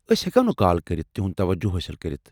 أسۍ ہیٚکو نہٕ كال كرِتھ تِہُنٛد توجہ حٲصل کٔرتھ ۔